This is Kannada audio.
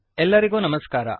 ಎಲ್ಲರಿಗೂ ನಮಸ್ಕಾರ